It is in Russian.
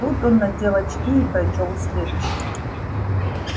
тут он надел очки и прочёл следующее